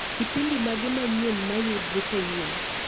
Kipindi mage manyien mayudre kawuono